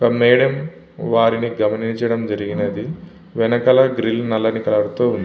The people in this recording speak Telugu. మేడం వారిని గమనించటం జరిగినది. వెనకాల గ్రిల్ నల్లని కలర్ తో ఉంది.